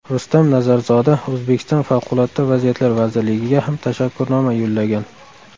Rustam Nazarzoda O‘zbekiston Favqulodda vaziyatlar vazirligiga ham tashakkurnoma yo‘llagan.